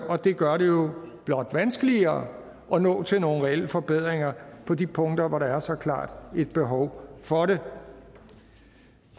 og det gør det blot vanskeligere at nå til nogle reelle forbedringer på de punkter hvor der er så klart et behov for det